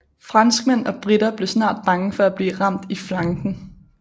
Franskmænd og briter blev snart bange for at blive ramt i flanken